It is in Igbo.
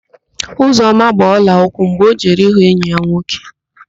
Ozioma gbaa ọlaụkwụ mgbe ọ jere ịhụ enyi ya nwoke.